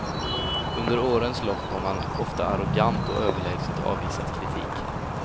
Under årens lopp har man ofta arrogant och överlägset avvisat kritik.